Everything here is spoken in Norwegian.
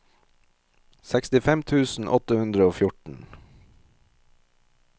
sekstifem tusen åtte hundre og fjorten